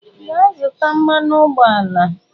Gaa zụta mmanụ ụgbọala!